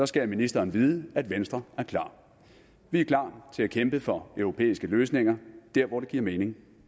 skal ministeren vide at venstre er klar vi er klar til at kæmpe for europæiske løsninger der hvor det giver mening